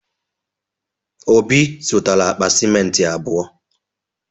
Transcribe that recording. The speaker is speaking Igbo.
Obi zụtara akpa simenti abụọ.